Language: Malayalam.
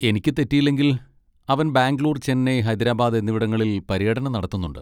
എനിക്ക് തെറ്റിയില്ലെങ്കിൽ അവൻ ബാംഗ്ലൂർ, ചെന്നൈ, ഹൈദരാബാദ് എന്നിവിടങ്ങളിൽ പര്യടനം നടത്തുന്നുണ്ട്.